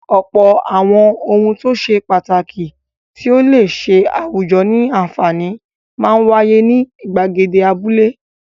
Ọ̀pọ̀ àwọn ohun tó ṣe pàtàkì tí ó le ṣe àwùjọ ní àǹfààní máa ń wáyé ní ìgbàgede abúlé.